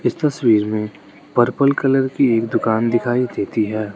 इस तस्वीर में पर्पल कलर की एक दुकान दिखाई देती है।